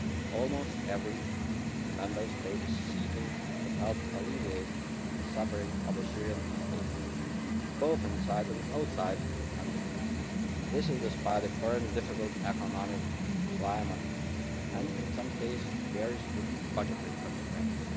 Almost every Member State is seeking to help alleviate the suffering of the Syrian people both inside and outside the country. This is despite the current difficult economic climate, and in some cases very strict budgetary constraints.